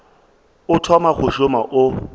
o thoma go šoma o